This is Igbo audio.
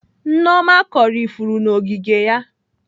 Nneoma kọrọ ifuru n'ogige ya.